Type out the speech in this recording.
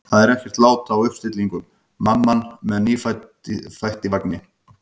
Það er ekkert lát á uppstillingum: mamma með nýfætt í vagni.